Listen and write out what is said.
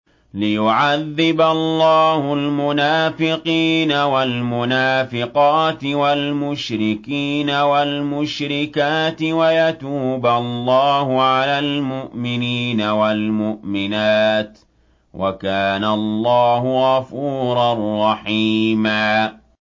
لِّيُعَذِّبَ اللَّهُ الْمُنَافِقِينَ وَالْمُنَافِقَاتِ وَالْمُشْرِكِينَ وَالْمُشْرِكَاتِ وَيَتُوبَ اللَّهُ عَلَى الْمُؤْمِنِينَ وَالْمُؤْمِنَاتِ ۗ وَكَانَ اللَّهُ غَفُورًا رَّحِيمًا